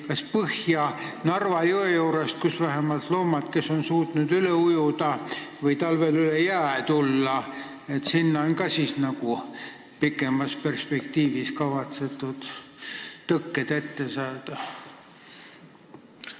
Kas põhja, Narva jõe juurde, millest loomad suudavad üle ujuda või talvel üle jää käia, on ka pikemas perspektiivis kavas tõkked ette saada?